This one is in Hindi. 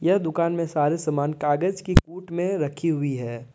यह दुकान में सारे सामान कागज के कुट में रखी हुई है।